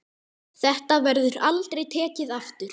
Þetta verður aldrei tekið aftur.